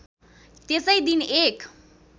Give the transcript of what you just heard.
त्यसै दिन एक